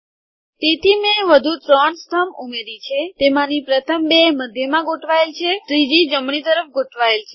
તેથી મેં વધુ ત્રણ સ્તંભ ઉમેરી છે તેમાંની પ્રથમ બે મધ્યમાં ગોઠવાયેલ છે ત્રીજી જમણી તરફ ગોઠવાયેલ છે